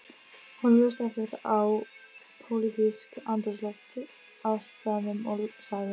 Honum leist ekkert á pólitískt andrúmsloft á staðnum og sagði